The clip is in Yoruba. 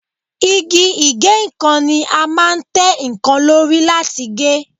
Igi ìgéǹkan ni a máa ń tẹ́ nǹkan lóri láti gé